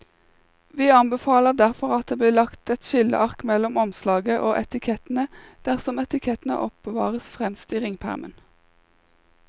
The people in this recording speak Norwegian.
Vi anbefaler derfor at det blir lagt et skilleark mellom omslaget og etikettene dersom etikettene oppbevares fremst i ringpermen.